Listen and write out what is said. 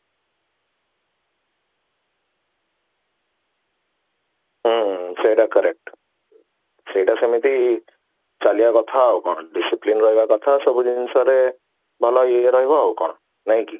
ହୁଁ ହୁଁ ସେଟା correct ସେଟା ସେମିତି ଚାଲିବା କଥା ଆଉ କଣ discipline ରହିବା କଥା ସବୁ ଜିନିଷ ରେ ଭଲ ଇଏ ରହିବ ଆଉ କଣ ନାହିଁ କି